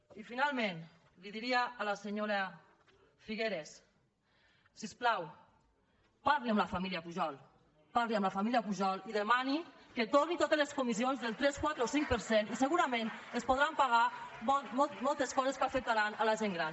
i finalment li diria a la senyora figueras si us plau parli amb la família pujol parli amb la família pujol i demani que torni totes les comissions del tres quatre o cinc per cent pagar moltes coses que afectaran la gent gran